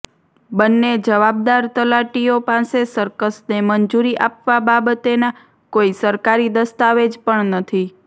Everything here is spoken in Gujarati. બંને જવાબદાર તલાટીઓ પાસે સર્કસને મંજૂરી આપવા બાબતેના કોઇ સરકારી દસ્તાવેજ પણ નથી